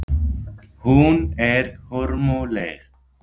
Hún er hörmuleg.